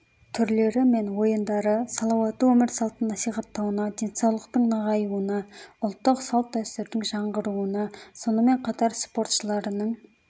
түрлері мен ойындары салауатты өмір салтын насихаттауына денсаулықтың нығайуына ұлттық салт-дәстүрдің жаңғыруына сонымен қатар спортшыларының